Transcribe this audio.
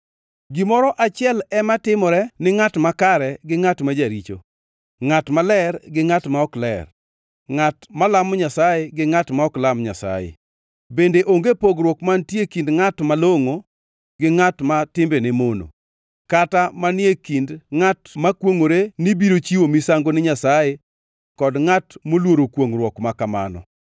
Gimoro achiel ema timore ni ngʼat makare gi ngʼat ma jaricho, ngʼat maler, gi ngʼat ma ok ler, ngʼat malamo Nyasaye, gi ngʼat ma ok lam Nyasaye. Bende onge pogruok mantie e kind ngʼat malongʼo, gi ngʼat ma timbene mono, kata manie kind ngʼat makwongʼore ni biro chiwo misango ni Nyasaye kod ngʼat moluoro kwongʼruok ma kamano.